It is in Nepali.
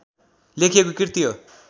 लेखिएको कृति हो।